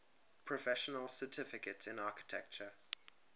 professional certification in architecture